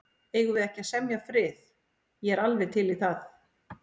Eigum við ekki að semja frið. ég er alveg til í það.